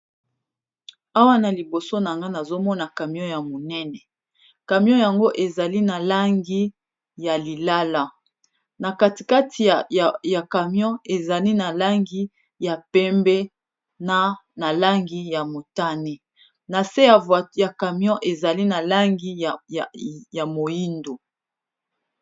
Awa naliboso nanga nazomona camio yamu nene kamio yango eza na langi ya Li lala nakatikati ya camio ezali na langi ya pembe na langi ya motane nase ya camio eza na langi ya mohindu